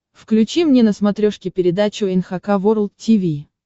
включи мне на смотрешке передачу эн эйч кей волд ти ви